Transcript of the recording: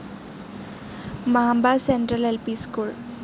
Mamba central L P school